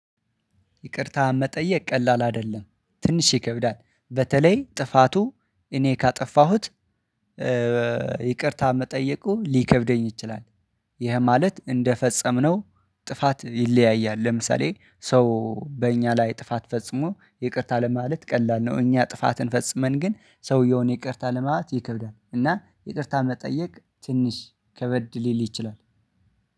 ይቅርታ መጠየቅ ቀላል አይደለም ትንሽ ይከብዳል በተለይ ጥፋቱ እኔ ካጠፋሁት ይቅርታ መጠየቁ ሊከብደኝ ይችላል። ይሄ ማለት እንደፈጸምነው ጥፋት ይለያያል። ለምሳሌ ሰው በእኛ ላይ ጥፋት ፈጽሞ ይቅርታ ለማለት ቀላል ነው እኛ ጥፋትን ፈጽመን ግን ሰውየውን ይቅርታ ለማለት ይከብዳል እና ይቅርታ መጠየቅ ትንሽ ከበድ ሊል ይችላል።